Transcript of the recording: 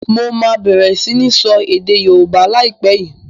Mo máa bẹ̀rẹ̀ sini sọ èdè Yorùbá lai pẹ̀ yìí